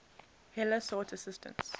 heller sought assistance